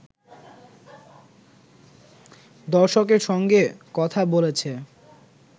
দর্শকের সঙ্গে কথা বলেছে